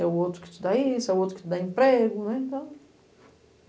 É o outro que te dá isso, é o outro que te dá emprego, né, então.